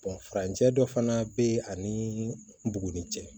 farancɛ dɔ fana be yen ani buguni cɛ